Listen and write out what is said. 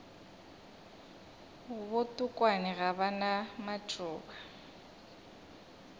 botokwane ga ba na matšoba